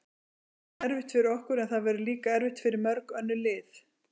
Það verður erfitt fyrir okkur, en það verður líka erfitt fyrir mörg önnur lið.